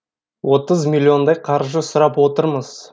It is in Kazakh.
отыз миллиондай қаржы сұрап отырмыз